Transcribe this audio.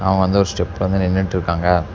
அவ வந்து ஒரு ஸ்டெப் வந்து நின்னுட்ருக்காங்க.